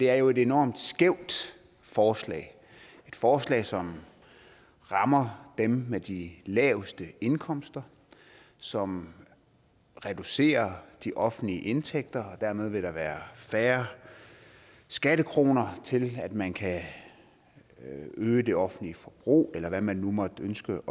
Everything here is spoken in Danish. er jo et enormt skævt forslag et forslag som rammer dem med de laveste indkomster som reducerer de offentlige indtægter og dermed vil der være færre skattekroner til at man kan øge det offentlige forbrug eller hvad man nu måtte ønske